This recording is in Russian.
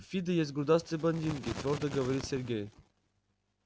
в фидо есть грудастые блондинки твёрдо говорит сергей